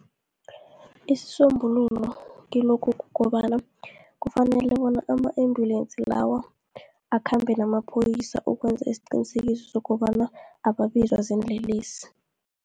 Isisombululo kilokhu, kukobana kufanele bona ama-ambulensi lawa akhambe namaphoyisa, ukwenza isiqinisekiso sokobana ababizwa ziinlelesi.